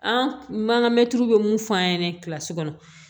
An man ka mɛtiriw be mun f'an ɲɛna kɔnɔ